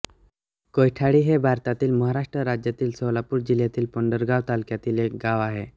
कौठाळी हे भारतातील महाराष्ट्र राज्यातील सोलापूर जिल्ह्यातील पंढरपूर तालुक्यातील एक गाव आहे